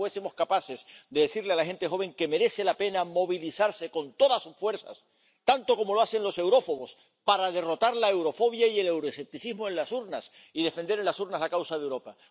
Ojalá fuésemos capaces de decirle a la gente joven que merece la pena movilizarse con todas sus fuerzas, tanto como lo hacen los eurófobos, para derrotar la eurofobia y el euroescepticismo en las urnas y defender en las urnas la causa de Europa.